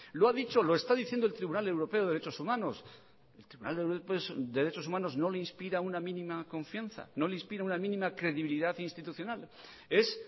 lo está diciendo el tribunal europeo de derechos humanos el tribunal europeo de derechos humanos no le inspira una mínima confianza no le inspira una mínima credibilidad institucional es